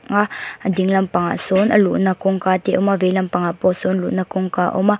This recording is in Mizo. a a ding lampang ah sawn a luhna kawngka te a awm a veilam pangah pawh sawn luhna kawngka a awm a.